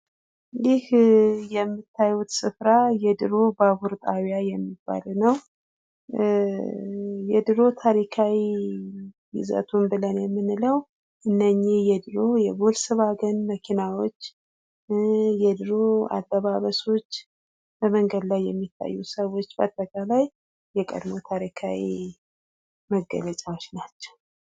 ይህ የምታዩት ስፍራ የድሮ ባቡር ጣቢያ የሚባለው ነው። የድሮ ታሪካዊ ይዘቱ ብለን የምንለው እነኚ የድሮ የቮልሰዋገን መኪናዎች፥ የድሮ አለባበሶች ፥ በመንገድ ላይ የሚታዩ ሰዎች ባጠቃላይ የቀድሞ ታሪካዊ መገለጫዎች ናቸው።